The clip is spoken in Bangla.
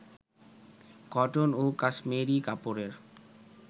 কটন ও কাশমেরি কাপড়ের